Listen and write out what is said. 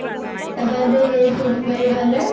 এবাৰ যে সেই চেগুণ বাৰীৰ ফালে